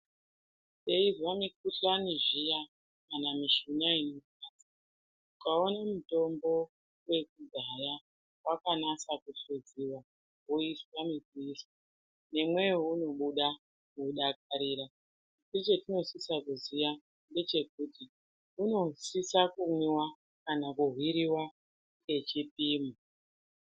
Teizwa mikhuhlani zviya kana mishuna inorwadza ukaone mutombo wekudhaya wakanasa kuhluziwa woiswa negwiri nemweya unobuda nekudakarira asi chetinosise kuziya unofana kumwiwa kana kuhwiriwa nechipimo ngechipimo.